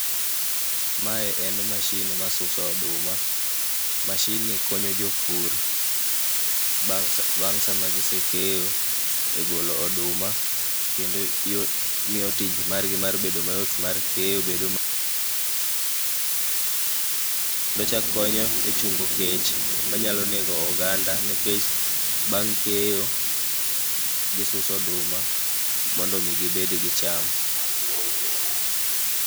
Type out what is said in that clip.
Mae en mashin masuso oduma. Mashinni konyo jopur bang' saa bang' sama gi keyo egolo oduma. Kendo yo miyo tijgi margi mar bedo mayot mar kenyo bedo ma.......Kendo chak konyo echungo kech manyalo nego oganda nikech bang' keyo gisuso oduma mondo mi gibed gicham.